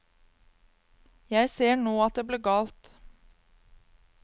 Jeg ser nå at det ble galt.